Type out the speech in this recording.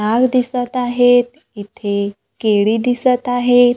दिसत आहेत इथे केळी दिसत आहे.